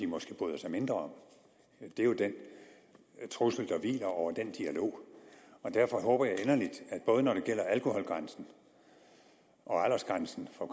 måske bryder sig mindre om det er jo den trussel der hviler over den dialog og derfor håber jeg inderligt både når det gælder alkoholgrænsen og aldersgrænsen for